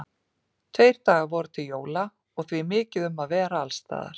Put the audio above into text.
Tveir dagar voru til jóla og því mikið um að vera alls staðar.